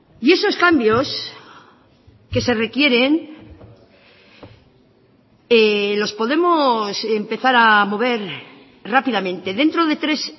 y esos cambios que se requieren los podemos empezar a mover rápidamente dentro de tres